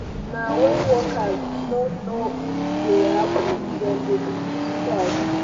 na wen workers no no dey hapi dem dey begin strike.